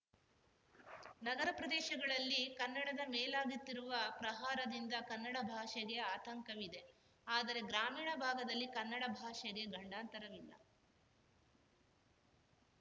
ನಗರ ಪ್ರದೇಶಗಳಲ್ಲಿ ಕನ್ನಡದ ಮೇಲಾಗುತ್ತಿರುವ ಪ್ರಹಾರದಿಂದ ಕನ್ನಡ ಭಾಷೆಗೆ ಆತಂಕವಿದೆ ಆದರೆ ಗ್ರಾಮೀಣ ಭಾಗದಲ್ಲಿ ಕನ್ನಡ ಭಾಷೆಗೆ ಗಂಡಾಂತರವಿಲ್ಲ